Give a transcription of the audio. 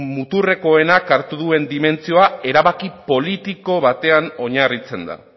muturrekoenak hartu duen dimentsioa erabaki politiko batean oinarritzen da